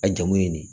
A jamu ye nin de ye